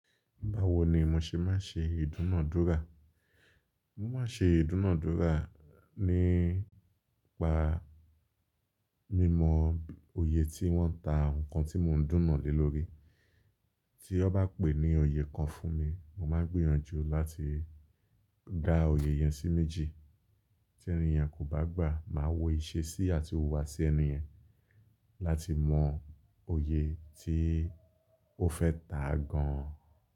Báwo ni mo ṣe máa ṣe ìdúnàádúrà? Mo máa ṣe ìdúnàádúrà nípa mímọ oyè tí wọ́n ń ta nǹkan tí mò ń dúnàá lé lórí. Tí ọ bá pè ní oyè kan fún mi, mo máa gbìyànjú láti dá oyè yẹn sí méjì. Tí ẹni ènìyàn kò bá gbà, màá wọ ìṣe sí àti huwà sí ènìyen láti mọ oyè tí ó fẹ́ tà gan.